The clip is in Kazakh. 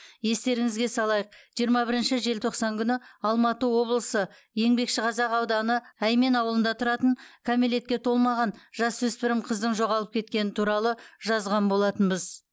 естеріңізге салайық жиырма бірінші желтоқсан күні алматы облысы еңбекшіқазақ ауданы әймен ауылында тұратын кәмелетке толмаған жасөспірім қыздың жоғалып кеткені туралы жазған болатынбыз